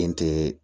Den tɛ